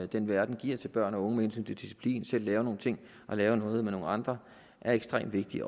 den verden giver til børn og unge med hensyn til disciplin til selv at lave nogle ting og lave noget med nogle andre er ekstremt vigtig